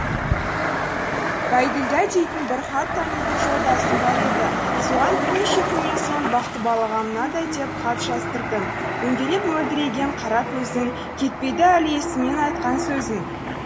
байділдә дейтін бір хат танитын жолдасым бар еді соған бірнеше күннен соң бақтыбалаға мынадай деп хат жаздырдым дөңгелек мөлдіреген қара көзің кетпейді әлі есімнен айтқан сөзің